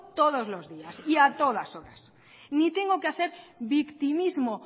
todos los días y a todas horas ni tengo que hacer victimismo